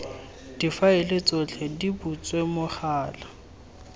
difaele tsotlhe di butswe mogala